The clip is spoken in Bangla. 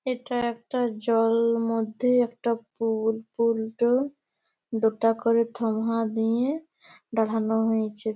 এটা একটা জলল মধ্যে একটা পুল পুল টো দুটা করে থমহা দিয়ে দাড়ান হো হইছে।